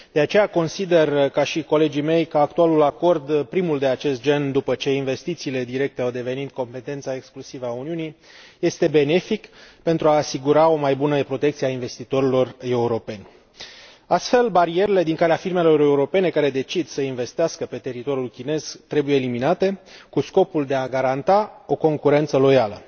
De aceea consider, ca și colegii mei, că actualul acord, primul de acest gen după ce investițiile directe au devenit de competența exclusivă a Uniunii, este benefic pentru a asigura o mai bună protecție a investitorilor europeni. Astfel, barierele din calea firmelor europene care decid să investească pe teritoriul chinez trebuie eliminate cu scopul de a garanta o concurență loială.